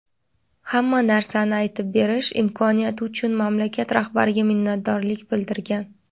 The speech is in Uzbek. "hamma narsani aytib berish" imkoniyati uchun mamlakat rahbariga minnatdorlik bildirgan.